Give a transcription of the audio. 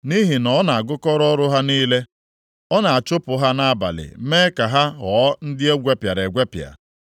Nʼihi na ọ na-agụkọ ọrụ ha niile, ọ na-achụpụ ha nʼabalị mee ka ha ghọọ ndị e gwepịara egwepịa.